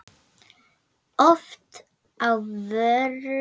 Oft á vöru lækkað gjald.